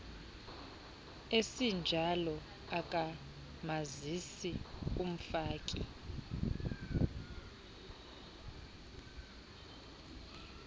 esinjalo akamazisi umfaki